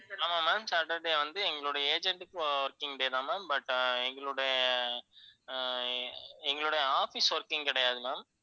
ஆமா ma'am saturday வந்து எங்களுடைய agent க்கு working day தான் ma'am, but எங்களுடைய ஆஹ் எங்களுடைய office working கிடையாது ma'am.